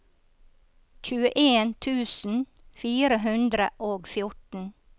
tjueen tusen fire hundre og fjorten